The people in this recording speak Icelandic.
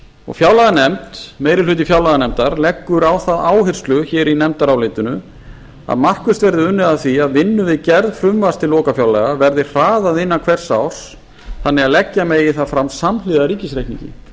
og fjárlaganefnd meiri hluti fjárlaganefndar leggur á það áherslu hér í nefndarálitinu að markvisst verði unnið að því að vinnu við gerð frumvarps til lokafjárlaga verði hraðað innan hvers árs þannig að leggja megi það fram samhliða ríkisreikningnum